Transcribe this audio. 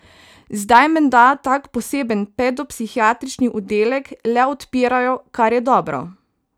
Zdaj menda tak poseben pedopsihiatrični oddelek le odpirajo, kar je dobro.